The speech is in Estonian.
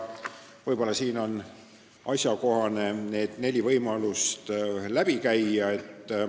Võib-olla on asjakohane siin need neli võimalust läbi käia.